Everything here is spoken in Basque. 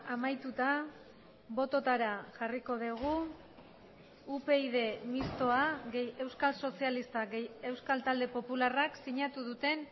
amaituta bototara jarriko dugu upyd mistoa gehi euskal sozialistak gehi euskal talde popularrak sinatu duten